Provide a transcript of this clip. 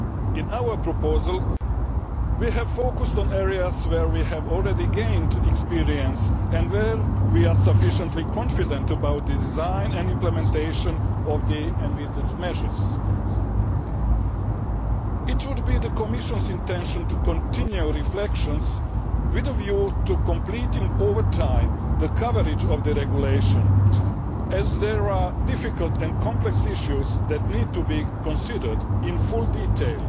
In our proposal we have focused on areas where we have already gained experience and where we are sufficiently confident about the design and implementation of the envisaged measures. It would be the Commission's intention to continue reflections with a view to completing over time the coverage of the Regulation, as there are difficult and complex issues which need to be considered in full detail,